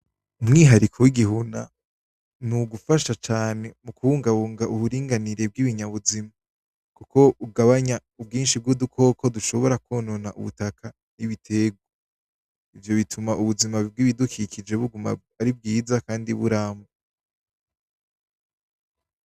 Umwihariko w'igihuna n'ugufasha cane muku bungabunga uburinganire bw'ibinyamubuzima bwo bugabanya ubwinshi bw'udukoko dushobora kwonona ubutaka n'ibiterwa, ivyo bituma ubuzima bw'ibidukikije buguma ari bwiza kandi buramba.